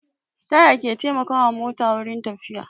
Taya ke taimaka wa mota wurin tafiya